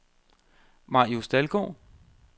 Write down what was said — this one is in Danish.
Marius Dalgaard